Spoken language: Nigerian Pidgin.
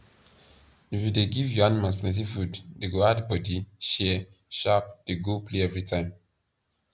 if u da give ur animals plenty food the go add body share sharp the go play everytime